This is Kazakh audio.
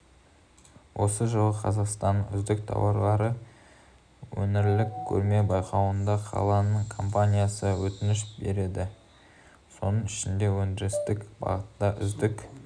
осы жылы қазақстанның үздік тауары өңірлік көрме-байқауына қаланың компаниясы өтініш берді соның ішінде өндірістік бағыттағы үздік